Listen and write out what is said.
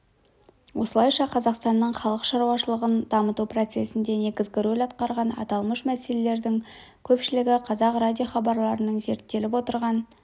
осылайша қазақстанның халық шаруашылығын дамыту процесінде негізгі рөл атқарған аталмыш мәселелердің көпшілігі қазақ радиохабарларының зерттеліп отырған